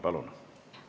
Palun!